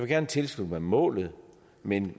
gerne tilslutte mig målet men